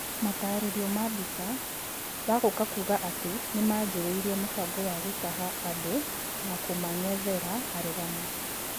Matarĩrio ma mbica, Wangũka kuuga atĩ nĩmanjĩrĩirĩe mũbango wa gũtaha andũna kũmang'ethera aregani.